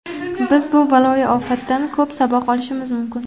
Biz bu baloyi ofatdan ko‘p saboq olishimiz mumkin.